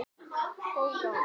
Mikið ertu sætur.